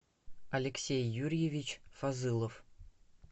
алексей юрьевич фазылов